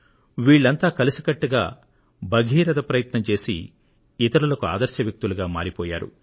వీళ్ళంతా కలిసికట్టుగా భగీరథ ప్రయత్నం చేసి ఇతరులకు ఆదర్శ వ్యక్తులుగా మారిపోయారు